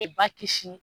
E ba kisi